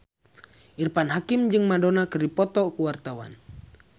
Irfan Hakim jeung Madonna keur dipoto ku wartawan